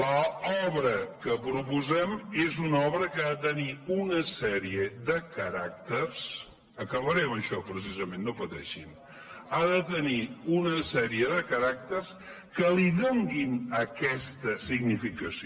l’obra que proposem és una obra que ha de tenir una sèrie de caràcters acabaré amb això precisament no pateixin que li donin aquesta significació